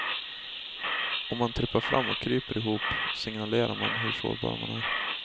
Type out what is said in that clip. Om man trippar fram och kryper ihop signalerar man hur sårbar man är.